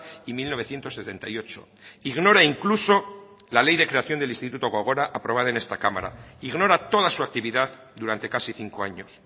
y mil novecientos setenta y ocho ignora incluso la ley de creación del instituto gogora aprobada en esta cámara ignora toda su actividad durante casi cinco años